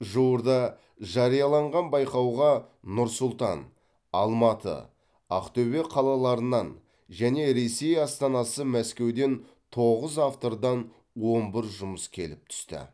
жуырда жарияланған байқауға нұр сұлтан алматы ақтөбе қалаларынан және ресей астанасы мәскеуден тоғыз автордан он бір жұмыс келіп түсті